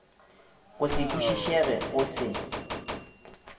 go se kwišišege go se